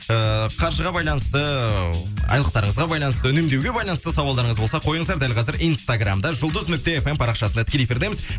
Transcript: ыыы қаржыға байланысты айлықтарыңызға байланысты үнемдеуге байланысты сауалдарыңыз болса қойыңыздар дәл қазір инстаграмда жұлдыз нүкте эф эм парақшасында тікелей эфирдеміз